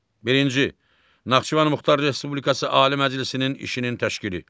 Birinci Naxçıvan Muxtar Respublikası Ali Məclisinin işinin təşkili.